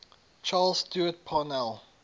charles stewart parnell